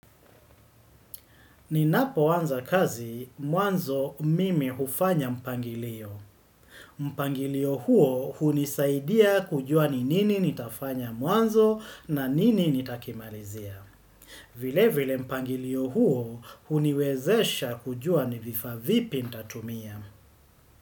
Ninapoanza kazi, mwanzo mimi ufanya mpangilio. Mpangilio huo unisaidia kujua ni nini nitafanya mwanzo na nini nitakimalizia. Vile vile mpangilio huo uniwezesha kujua ni vifaa vipi nitatumia.